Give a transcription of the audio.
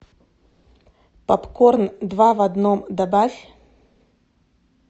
попкорн два в одном добавь